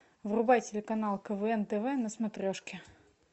врубай телеканал квн тв на смотрешке